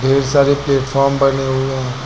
ढेर सारे प्लेटफार्म बने हुए हैं।